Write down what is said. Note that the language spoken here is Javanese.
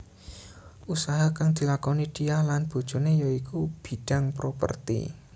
Usaha kang dilakoni Diah lan bojoné ya iku bidhang properti